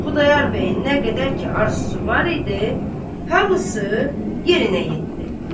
Xudayar bəyin nə qədər ki arzusu var idi, hamısı yerinə yetdi.